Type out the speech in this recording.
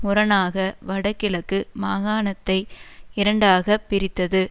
முரணாக வட கிழக்கு மாகாணத்தை இரண்டாக பிரித்தது